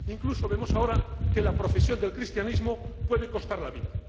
Incluso vemos ahora que la profesión del cristianismo puede costar la vida.